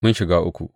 Mun shiga uku!